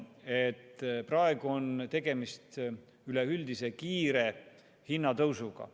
Praegu on tegemist üleüldise kiire hinnatõusuga.